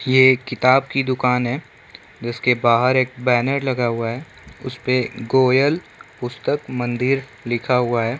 ये एक किताब की दुकान है जिस के बाहर एक बैनर लगा हुआ है उस पे गोयल पुस्तक मंदिर लिखा हुआ है।